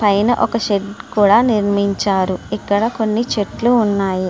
పైన ఒక షెడ్డు నిర్మించారు. ఇక్కడ కొన్ని చెట్లు కూడా ఉన్నాయి.